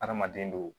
Adamaden do